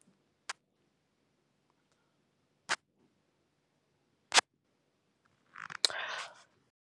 Wi-Fi ka tlung .